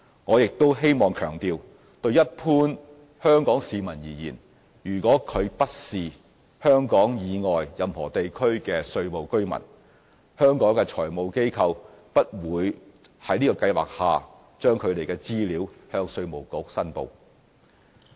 我亦希望強調，就一般香港市民而言，如果他不是香港以外任何地區的稅務居民，香港的財務機構不會在這計劃下將他們的資料向稅務局申報。